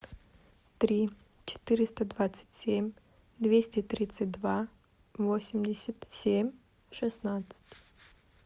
три четыреста двадцать семь двести тридцать два восемьдесят семь шестнадцать